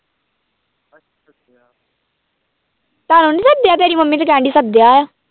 ਤੁਹਾਨੂੰ ਨੀ ਸੱਦਿਆ ਤੇਰੀ ਮੰਮੀ ਤੇ ਕਹਿਣਡੀ ਸੱਦਿਆ ਹੈ।